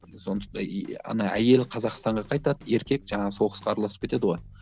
ана әйел қазақстанға қайтады еркек жаңағы соғысқа араласып кетеді ғой